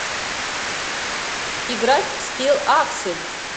играть в скилл аксель